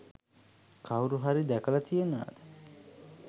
කවුරු හරි දැකලා තියනවද